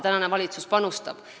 Tänane valitsus sinna panustab.